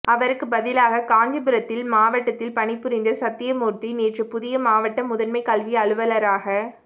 அவருக்கு பதிலாக காஞ்சிபுரத்தில் மாவட்டத்தில் பணிபுரிந்த சத்தியமூர்த்தி நேற்று புதிய மாவட்ட முதன்மை கல்வி அலுவலராக